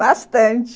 Bastante.